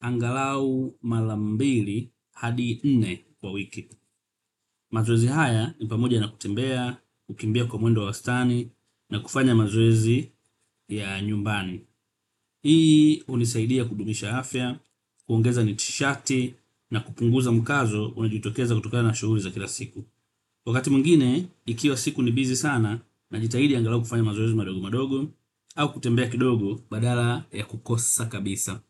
aghalau mara mbili hadi nne kwa wiki. Mazoezi haya ni pamoja na kutembea, kukimbia kwa mwendo wa wastani, na kufanya mazoezi ya nyumbani. Hii, hunisaidia kudumisha afya, kuongeza nishati, na kupunguza mkazo, unaojitokeza kutokana na shughuli za kila siku. Wakati mwingine, ikiwa siku ni bizi sana, najitahidi angalau kufanya mazoezi madogo madogo, au kutembea kidogo badala ya kukosa kabisa.